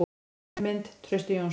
Önnur mynd: Trausti Jónsson.